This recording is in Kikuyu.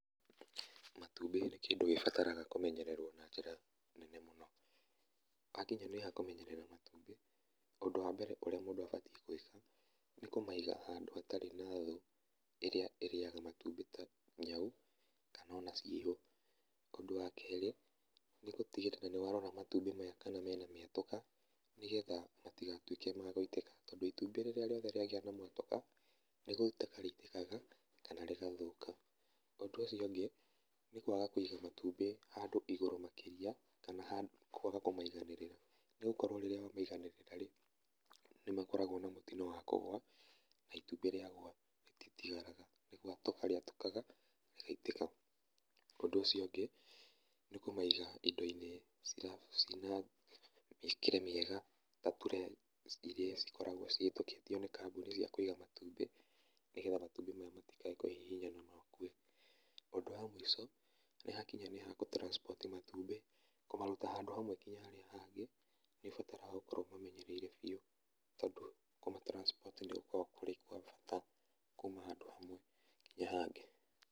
Matumbĩ nĩ kĩndũ gĩbataraga kũmenyererwo na njĩra nene mũno. Wakinya nĩ ha kũmenyerera matumbĩ, ũndũ wa mbere ũrĩa mũndũ abatiĩ gwĩka nĩ kũmaiga handũ hatarĩ na thũ ĩrĩa ĩrĩaga matumbĩ ta nyau kana ona ciĩhũ. Ũndũ wa kerĩ nĩ gũtigĩrĩra nĩ warora matumbĩ maya kana mena mĩatũka nĩgetha matigatuĩke ma gũitĩka, tondũ itumbĩ rĩrĩa rĩothe rĩagĩa na mwatũka nĩ gũitĩka rĩitĩkaga kana rĩgathũka. Ũndũ ũcio ũngĩ nĩ kwaga kũiga matumbĩ handu igũrũ makĩria kana kwaga kũmaiganĩrĩria, nĩ gũkorwo rĩrĩa wamaiganĩrĩra rĩ, nĩ makoragwo na mũtino wa kũgwa na itumbĩ rĩagũa rĩtitigaraga nĩ gũatũka rĩatũkaga rĩgaitĩka. Ũndũ ũcio ũngĩ nĩ gũciiga indo-inĩ ciĩna mĩĩkĩre mĩega ta tray irĩa cikoragwo cihĩtũkĩtio nĩ kambuni cia kũiga matumbĩ, nĩgetha matumbĩ maya matikae kũhihinyana na makue. Ũndũ wa mũico nĩ hakinya nĩ ha gũ transport matumbĩ kũmaruta handũ hamwe nginya harĩa hangĩ, nĩ ũbataraga gũkorwo ũmamenyereire biũ tondũ kũma transport nĩ gũkoragwo kũrĩ gwa bata kuuma handũ hamwe nginya hangĩ.